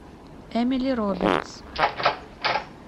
эмили робертс